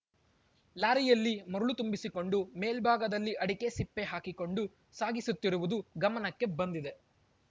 ಲಾರಿಯಲ್ಲಿ ಮರಳು ತುಂಬಿಸಿಕೊಂಡು ಮೇಲ್ಭಾಗದಲ್ಲಿ ಅಡಕೆ ಸಿಪ್ಪೆ ಹಾಕಿಕೊಂಡು ಸಾಗಿಸುತ್ತಿರುವುದು ಗಮನಕ್ಕೆ ಬಂದಿದೆ